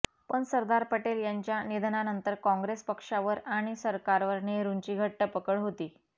पण सरदार पटेल यांच्या निधनानंतर काँग्रेस पक्षावर आणि सरकारवर नेहरूंची घट्ट पकड होती